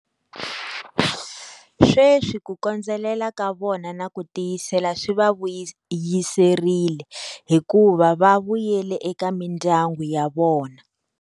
Sweswi ku kondzelela ka vona na ku tiyisela swi va vuyiserile, hikuva va vuyela eka mindyangu ya vona.